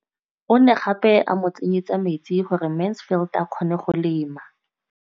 O ne gape a mo tsenyetsa metsi gore Mansfield a kgone go lema.